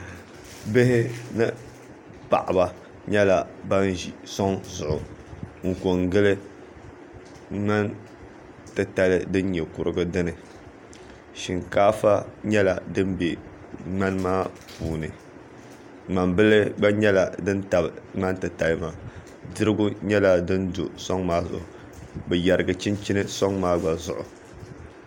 bihi ni paɣiba nyɛla ban ʒi sɔŋ zuɣu n-kɔŋgili ŋmani titali din nyɛ kurigu dini shinkaafa nyɛla din be ŋmani maa puuni ŋmambila gba nyɛla din tabi ŋmani titali maa dirigu nyɛla din do sɔŋ maa zuɣu bɛ yɛrigi chinchini sɔŋ maa gba zuɣu